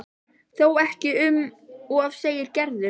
Þó ekki um of segir Gerður.